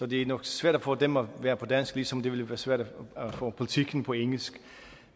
det er nok svært for dem at være på dansk ligesom det ville være svært at få politiken på engelsk